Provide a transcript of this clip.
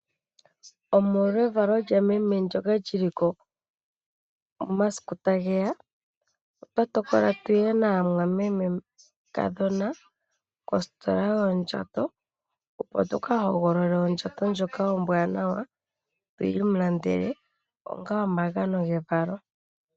Omolwa evalo lyameme ndyoka lyili ko momasiku tageya, otwa tokola tuye naamwamemekadhona kositola yoondjato , opo tuka hogolole ondjato ndjoka ombwaanawa tuyi mulandele onga omagano gevalo lye.